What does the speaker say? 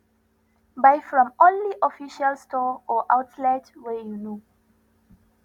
buy from only official store or outlets wey you know